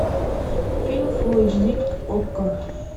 фильм фулл эйч ди окко